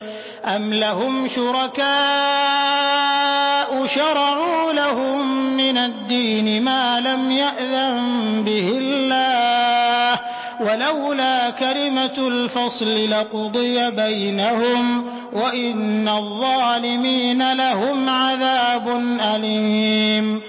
أَمْ لَهُمْ شُرَكَاءُ شَرَعُوا لَهُم مِّنَ الدِّينِ مَا لَمْ يَأْذَن بِهِ اللَّهُ ۚ وَلَوْلَا كَلِمَةُ الْفَصْلِ لَقُضِيَ بَيْنَهُمْ ۗ وَإِنَّ الظَّالِمِينَ لَهُمْ عَذَابٌ أَلِيمٌ